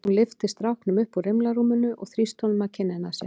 Hún lyfti stráknum upp úr rimlarúminu og þrýsti honum að kinninni á sér.